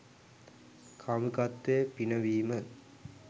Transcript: කාමුකත්වය පිනවීම